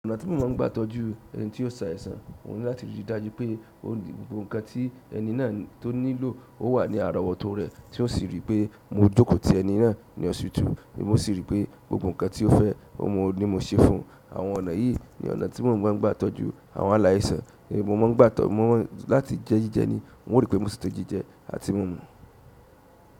Ọ̀nà ti mo maa n gba tọ́jú ẹni ti o ṣàìsàn oun ni láti ri dájú pe gbogbo nǹkan ti ẹni na to nílò o wa ni arowoto re. Tí ó sì ri pé mo jókòó ti ẹni náà ní hospital, mi mó sì rí pé gbogbo nǹkan tí ó fẹ́, ọ̀mọ̀ ni mo ṣe fún. Àwọn ọ̀nà yìí ni ọ̀nà tí mò ń gbà tọ́jú àwọn aláìsàn. Èmi mó máa ń gbà tọ́, mo máa ń láti jẹ jíjẹ ni, wọn rí pé mo ṣètò jíjẹ àti mímu.